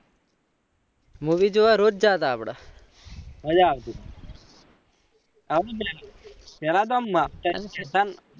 movie જોવા રોજ જતા આપળે મજા આવતી પેહલા તો આમ છતાં